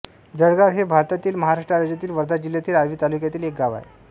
जळगाव हे भारतातील महाराष्ट्र राज्यातील वर्धा जिल्ह्यातील आर्वी तालुक्यातील एक गाव आहे